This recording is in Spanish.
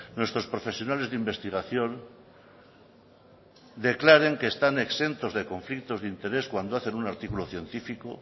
nuestros profesionales de investigación declaren que están exentos de conflictos de interés cuando hacen un artículo científico